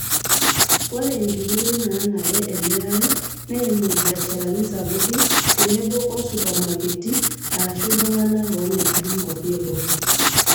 Ore nkititoi naanare emirare neimu irbiasharani sapuki tenebo oo supermaketi arashu iltung'ana omiraki nkwapi eboo.